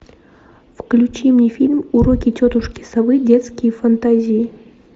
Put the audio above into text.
включи мне фильм уроки тетушки совы детские фантазии